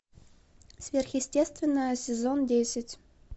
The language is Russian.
сверхъестественное сезон десять